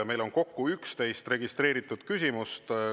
Meil on kokku 11 registreeritud küsimust.